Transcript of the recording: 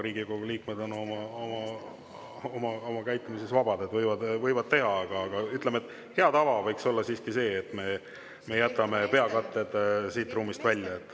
Riigikogu liikmed on küll oma käitumises vabad, nad võivad seda teha, aga, ütleme, hea tava võiks olla siiski see, et me jätame peakatted siit ruumist välja.